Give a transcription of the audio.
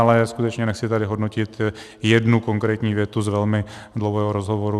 Ale skutečně nechci tady hodnotit jednu konkrétní větu z velmi dlouhého rozhovoru.